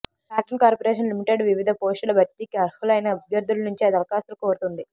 cotton corporation limited వివిధ పోస్టుల భర్తీకి అర్హులైన అభ్యర్థుల నుంచి దరఖాస్తులు కోరుతోంది